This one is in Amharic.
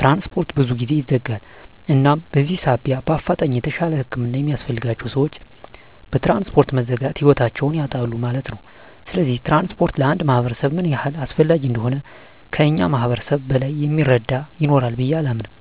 ትራንስፖርት ብዙ ጊዜ ይዘጋል እናም በዚህ ሳቢያ በአፋጣኝ የተሻለ ህክምና የሚያስፈልጋቸዉ ሰወች በትራንስፖርት መዘጋት ህይወታቸዉን ያጣሉ ማለት ነዉ። ስለዚህ ትራንስፖርት ለአንድ ማህበረሰብ ምን ያህል አስፈላጊ እንደሆነ ከእኛ ማህበረሰብ በላይ እሚረዳ ይኖራል ብየ አላምንም።